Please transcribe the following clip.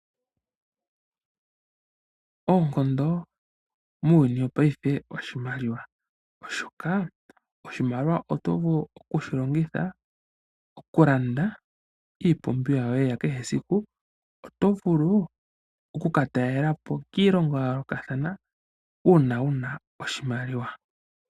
Oonkondo muuyuni wo paife ooshimaliwa oshoka oshimaliwa oto vulu oku shi longitha oku landa iipumbiwa yoye ya kehe esiku. Oto vulu oku ka talelapo kiilongo ya yoolokathana uuna wuna oshimaliwa.